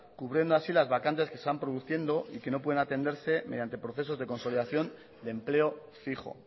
cubriendo así las vacantes que se van produciendo y que no pueden atenderse mediante procesos de consolidación de empleo fijo